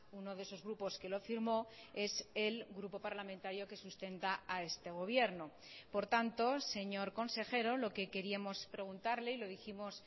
uno de esos grupos que lo firmó es el grupo parlamentario que sustenta a este gobierno por tanto señor consejero lo que queríamos preguntarle y lo dijimos